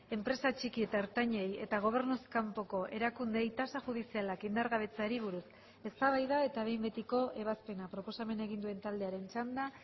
enpresa txiki eta ertainei eta gobernuz kanpoko erakundeei tasa judizialak indargabetzeari buruz eztabaida eta behin betiko ebazpena proposamena egin duen taldearen txanda